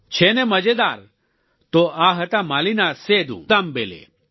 છે ને મજેદાર તો આ હતા માલીના સેદૂ દામબેલે